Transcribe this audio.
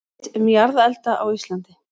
Rit um jarðelda á Íslandi.